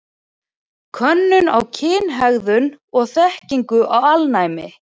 Könnun á kynhegðun og þekkingu á alnæmi.